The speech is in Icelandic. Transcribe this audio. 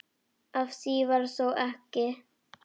Af því varð þó ekki.